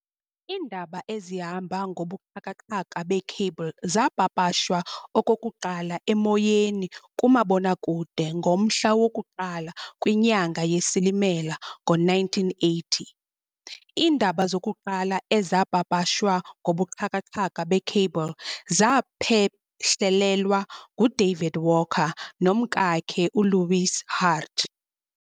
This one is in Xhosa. Iindaba ezihamba ngobuxhakaxhaka bee-Cable zaapapashwa okokuqala emoyeni kumabonakude ngomhla woku-1 kwinyanga yeSilimela ngo-1980. Iindaba zokuqala ezaapapashwa ngobuxhakaxhaka be-Cable zaphehlelelwa ngu-David Walker nomkakhe uLois Hart.